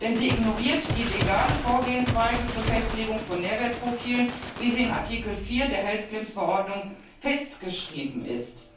Denn sie ignoriert die legale Vorgehensweise zur Festlegung von Nährwertprofilen, wie sie in Artikel 4 der Health Claims Verordnung festgeschrieben ist.